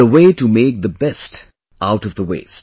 The way to make the best out of the waste